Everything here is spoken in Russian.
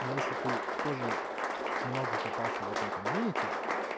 но если ты тоже много копался в этом комьюнити